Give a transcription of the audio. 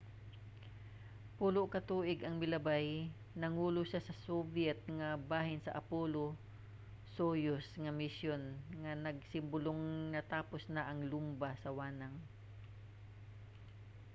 pulo ka tuig ang milabay nangulo siya sa soviet nga bahin sa apollo–soyuz nga misyon nga nagsimbolong natapos na ang lumba sa wanang